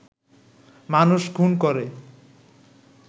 মানুষ খুন করে